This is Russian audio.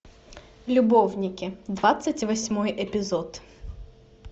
любовники двадцать восьмой эпизод